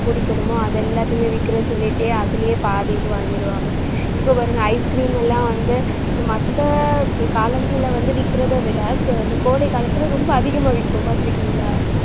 குடிக்கணுமோ, அதை எல்லாத்தையுமே விக்கறேன்னு சொல்லிட்டு அதிலயே பாதி இது வாங்கிடுவாங்க இப்ப பாருங்க ice cream எல்லாம் வந்து இந்த மத்த காலங்கள்ல வந்து விக்கிறதை விட அஹ் இந்த கோடை காலத்துல ரொம்ப அதிகமா விக்கும் பாத்துருக்கீங்களா?